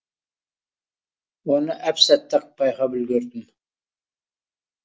оны әп сәтте ақ байқап үлгердім